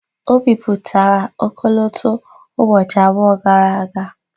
O bipụtara ọkọlọtọ ụbọchị abụọ gara aga.